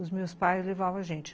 Os meus pais levavam a gente.